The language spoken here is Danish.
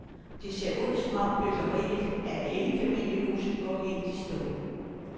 Det ser ud, som om byggeriet af enfamiliehuse går helt i stå.